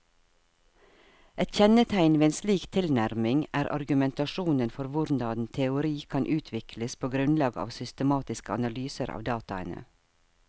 Et kjennetegn ved en slik tilnærming er argumentasjonen for hvordan teori kan utvikles på grunnlag av systematiske analyser av dataene.